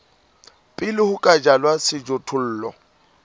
pele ho ka jalwa sejothollo